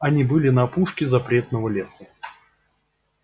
они были на опушке запретного леса